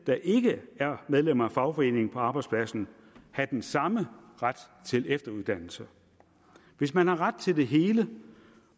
der ikke er medlemmer af fagforeningen på arbejdspladsen have den samme ret til efteruddannelse hvis man har ret til det hele